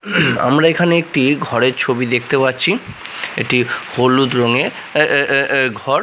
আমরা এখানে একটি ঘরের ছবি দেখতে পাচ্ছি একটি হলুদ রঙের এ এ এ এ ঘর।